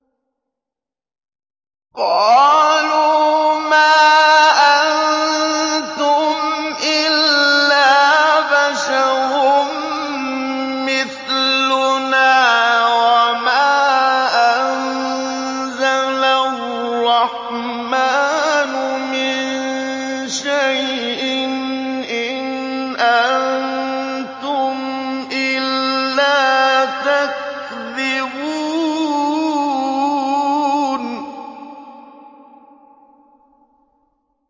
قَالُوا مَا أَنتُمْ إِلَّا بَشَرٌ مِّثْلُنَا وَمَا أَنزَلَ الرَّحْمَٰنُ مِن شَيْءٍ إِنْ أَنتُمْ إِلَّا تَكْذِبُونَ